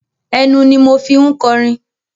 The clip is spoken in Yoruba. Ẹnu ni mo fi ń kọrin.